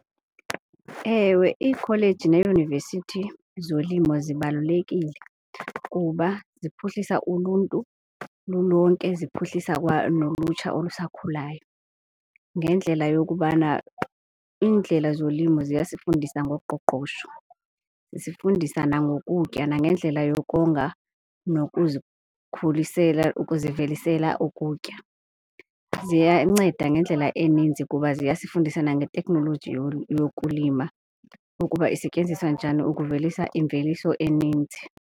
Ewe, iikholeji neeyunivesithi zolimo zibalulekile kuba ziphuhlisa uluntu lulonke, ziphuhlisa kwanolutsha olusakhulayo ngendlela yokubana iindlela zolimo ziyasifundisa ngoqoqosho. Zisifundisa nangokutya nangendlela yokonga nokuzikhulisela, ukuzivelisa ukutya. Ziyanceda ngendlela eninzi kuba ziyasifundisa nangeteknoloji yokulima ukuba isetyenziswa njani ukuvelisa imveliso eninzi.